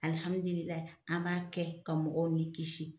Alihamidililahi an b'a kɛ ka mɔgɔ ni kisi.